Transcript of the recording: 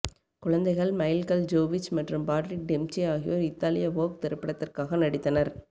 குழந்தைகள் மைல்கள் ஜோவோவிச் மற்றும் பாட்ரிக் டெம்ப்சே ஆகியோர் இத்தாலிய வோக் திரைப்படத்திற்காக நடித்தனர்